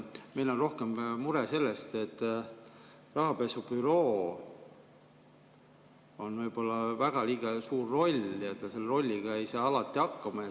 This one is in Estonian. Meil on rohkem mure selle pärast, et rahapesu bürool on võib-olla liiga suur roll ja ta selle rolliga ei saa alati hakkama.